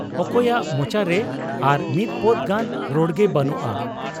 ᱚᱠᱚᱭᱟᱜ ᱢᱚᱪᱟᱨᱮ ᱟᱨ ᱢᱤᱫ ᱯᱚᱫᱽ ᱜᱟᱱ ᱨᱚᱲᱜᱮ ᱵᱮᱹᱱᱩᱜ ᱟ ᱾